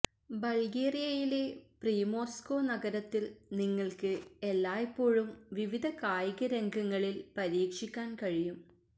ബൾഗേറിയയിലെ Primorsko നഗരത്തിൽ നിങ്ങൾക്ക് എല്ലായ്പ്പോഴും വിവിധ കായികരംഗങ്ങളിൽ പരീക്ഷിക്കാൻ കഴിയും